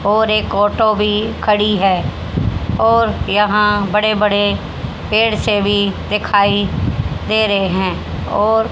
और एक ओटो भी खड़ी है और यहां बड़े बड़े पेड़ से भी दिखाई दे रहे हैं और--